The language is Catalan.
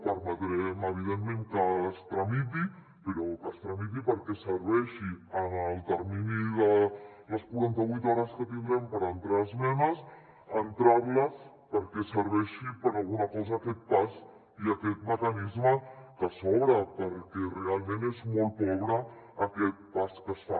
permetrem evidentment que es tramiti però que es tramiti perquè serveixi en el termini de les quaranta vuit hores que tindrem per entrar esmenes entrar les perquè serveixi per a alguna cosa aquest pas i aquest mecanisme que s’obre perquè realment és molt pobre aquest pas que es fa